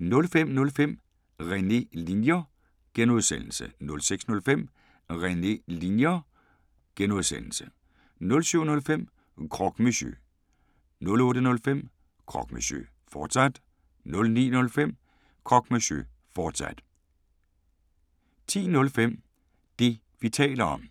05:05: René Linjer (G) 06:05: René Linjer (G) 07:05: Croque Monsieur 08:05: Croque Monsieur, fortsat 09:05: Croque Monsieur, fortsat 10:05: Det, vi taler om